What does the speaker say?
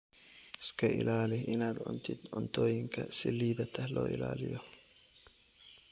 Iska ilaali inaad cuntid cuntooyinka si liidata loo ilaaliyo.